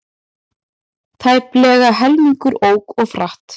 Tæplega helmingur ók of hratt